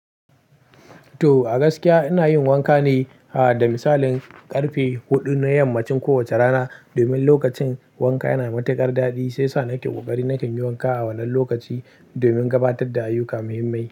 To, a gaskiya ina yin wanka ne, aha, da misalin ƙarfe huɗu na yammacin kowace rana. Domin lokacin wanka yana da matuƙar daɗi, sai sa nake ƙoƙari nakan yi wanka a wannan lokaci domin gabatar da ayyuka muhimmai.